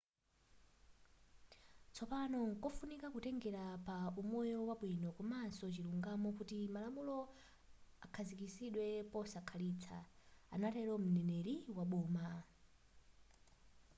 tsopano nkofunika kutengela pa umoyo wabwino komanso chilungamo kuti malamulo akhazikidwe posakhalitsa” anatelo m;neneri wa boma